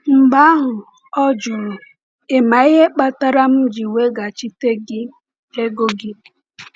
Mgbe ahụ, ọ jụrụ: “Ị ma ihe kpatara m ji weghachite gị ego gị?”